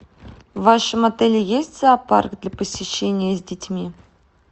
в вашем отеле есть зоопарк для посещения с детьми